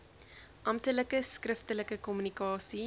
amptelike skriftelike kommunikasie